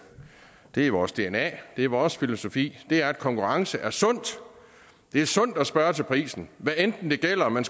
det er vores dna det er vores filosofi at konkurrence er sundt det er sundt at spørge til prisen hvad enten det gælder at man